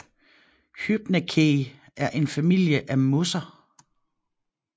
Hypnaceae er en familie af mosser